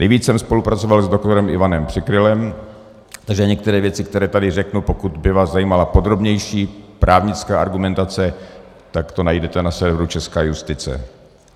Nejvíc jsem spolupracoval s doktorem Ivanem Přikrylem, takže některé věci, které tady řeknu, pokud by vás zajímala podrobnější právnická argumentace, tak to najdete na serveru Česká justice.